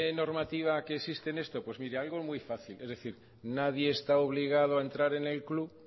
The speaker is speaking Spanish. normativa que existe en esto pues mire algo muy fácil es decir nadie está obligado a entrar en el club